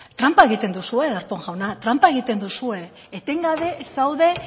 tranpa egiten duzue darpón jauna tranpa egiten duzue etengabe zaude